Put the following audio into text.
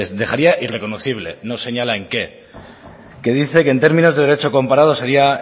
dejaría irreconocible no señala en qué que dice que en términos de derecho comparado sería